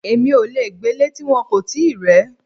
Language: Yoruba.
Èmi ò le gbélé ti wọn kò tíì rẹ̀ ẹ́.